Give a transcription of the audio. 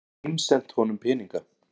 Ég get símsent honum peninga.